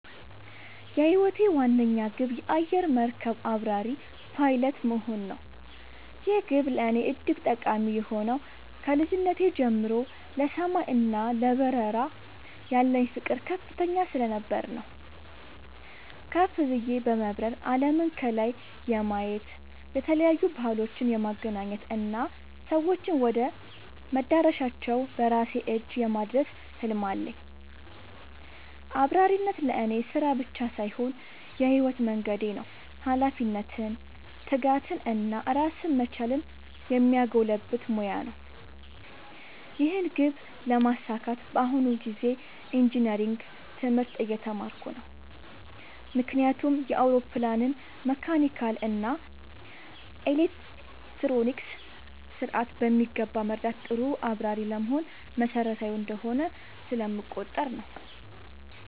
የህይወቴ ዋነኛ ግብ የአየር መርከብ አብራሪ (Pilot) መሆን ነው። ይህ ግብ ለእኔ እጅግ ጠቃሚ የሆነው ከልጅነቴ ጀምሮ ለሰማይ እና ለበረራ ያለኝ ፍቅር ከፍተኛ ስለነበር ነው። ከፍ ብዬ በመብረር አለምን ከላይ የማየት፣ የተለያዩ ባህሎችን የማገናኘት እና ሰዎችን ወደ መዳረሻቸው በራሴ እጅ የማድረስ ህልም አለኝ። አብራሪነት ለእኔ ስራ ብቻ ሳይሆን የህይወት መንገዴ ነው - ኃላፊነትን፣ ትጋትን እና ራስን መቻልን የሚያጎለብት ሙያ ነው። ይህን ግብ ለማሳካት በአሁኑ ጊዜ ኢንጂነሪንግ (Engineering) ትምህርት እየተማርኩ ነው። ምክንያቱም የአውሮፕላንን መካኒካል እና ኤሌክትሮኒክስ ስርዓት በሚገባ መረዳት ጥሩ አብራሪ ለመሆን መሰረታዊ እንደሆነ ስለምቆጠር ነው።